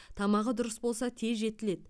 тамағы дұрыс болса тез жетіледі